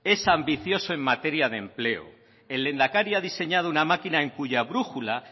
es ambicioso en materia de empleo el lehendakari ha diseñado una máquina en cuya brújula